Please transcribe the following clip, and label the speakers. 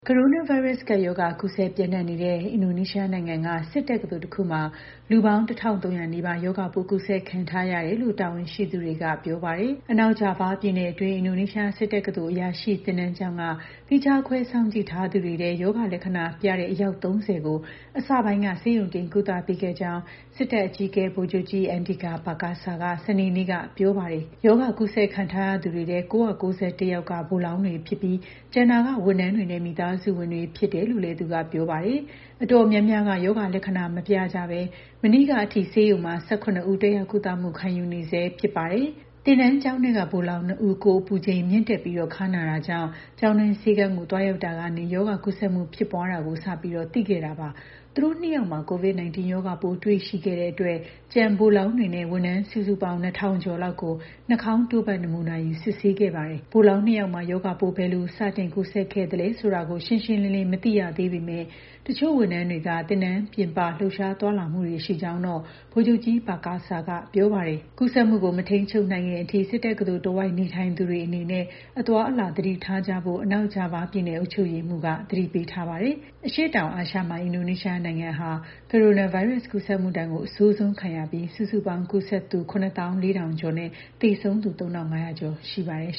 Speaker 1: ကိုရိုနာဗိုင်းရပ်စ် ကပ်ရောဂါ ကူးစက်ပျံ့နှံ့နေတဲ့ အင်ဒိုနီးရှားနိုင်ငံက စစ်တက္ကသိုလ်တခုမှာ လူပေါင်း ၁,၃၀၀ နီးပါး ရောဂါပိုး ကူးစက်ခံထားရတယ်လို့ တာဝန်ရှိသူတွေက ပြောပါတယ်။ အနောက်ဂျာဗားပြည်နယ်တွင်း အင်ဒိုနီးရှား စစ်တက္ကသိုလ် အရာရှိသင်တန်းကျောင်းက သီးခြားခွဲ စောင့်ကြည့်ထားသူတွေထဲက ရောဂါလက္ခဏာတွေပြတဲ့ အယောက် ၃၀ ကို အစပိုင်းက ဆေးရုံတင် ကုသပေးခဲ့ကြောင်း စစ်တပ်အကြီးအကဲ ဗိုလ်ချုပ်ကြီး Andika Perkasa က စနေနေ့က ပြောပါတယ်။ ရောဂါကူးစက်ခံထားရသူတွေထဲ ၉၉၁ ယောက်က ဗိုလ်လောင်းတွေဖြစ်ပြီး ကျန်တာက ဝန်ထမ်းတွေနဲ့ မိသားစုဝင်တွေ ဖြစ်တယ်လို့လည်း သူက ပြောပါတယ်။ အတော်များများက ရောဂါလက္ခဏာ မပြကြဘဲ မနေ့ကအထိ ဆေးရုံမှာ ၁၇ ဦး တက်ရောက်ကုသမှု ခံယူနေဆဲ ဖြစ်ပါတယ်။ သင်တန်းကျောင်းထဲက ဗိုလ်လောင်း ၂ ဦး ကိုယ်အပူချိန်မြင့်တက်ပြီး ခါးနာတာကြောင့် ကျောင်းတွင်းဆေးခန်းကို သွားရောက်ရာကနေ ရောဂါကူးစက်မှု ဖြစ်ပွားနေတာကို စသိခဲ့တာပါ။ သူတို့ ၂ ယောက်မှာ COVID-19 ရောဂါပိုး တွေ့ရှိခဲ့တဲ့အတွက် ကျန်ဗိုလ်လောင်းတွေနဲ့ ဝန်ထမ်း စုစုပေါင်း ၂,၀၀၀ ကျော်လောက်ကို နှာခေါင်းတို့ဖတ် နမူနာယူ စစ်ဆေးခဲ့ပါတယ်။ ဗိုလ်လောင်း ၂ ယောက်မှာ ရောဂါပိုး ဘယ်လို စတင်ကူးစက်ခဲ့သလဲဆိုတာ ရှင်းရှင်းလင်းလင်း မသိရသေးပေမယ့် တချို့ဝန်ထမ်းတွေက သင်တန်းကျောင်းပြင်ပ လှုပ်ရှားသွားလာမှုတွေ ရှိကြောင်းတော့ ဗိုလ်ချုပ်ကြီး Perkasa က ပြောပါတယ်။ ကူးစက်မှုကို မထိန်းချုပ်နိုင်ခင် အချိန်အထိ သင်တန်းကျောင်းတဝိုက် နေထိုင်သူတွေအနေနဲ့ အသွားအလာ သတိထားကြဖို့ အနောက်ဂျာဗားပြည်နယ် အုပ်ချုပ်ရေးမှူးက သတိပေးထားပါတယ်။ အရှေ့တောင်အာရှမှာ အင်ဒိုနီးရှားနိုင်ငံဟာ ကိုရိုနာဗိုင်းရပ်စ် ကူးစက်မှုဒဏ်ကို အဆိုးဆုံးခံရပြီး စုစုပေါင်း ကူးစက်သူ ၇၄,၀၀၀ ကျော်နဲ့ သေဆုံးသူ ၃,၅၀၀ ကျော် ရှိပါတယ်